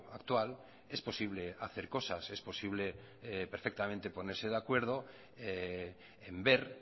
actual es posible hacer cosas es posible perfectamente ponerse de acuerdo en ver